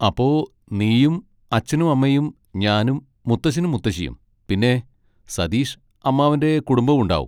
അപ്പൊ നീയും അച്ഛനും അമ്മയും ഞാനും മുത്തശ്ശനും മുത്തശ്ശിയും പിന്നെ സതീഷ് അമ്മാവൻ്റെ കുടുംബവും ഉണ്ടാകും.